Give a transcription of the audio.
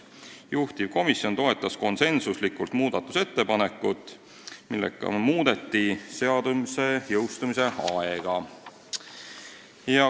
Juhtivkomisjon toetas konsensuslikult muudatusettepanekut, millega muudetakse seaduse jõustumise aega.